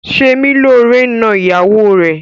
Semilore n nọ ìyàwó rẹ.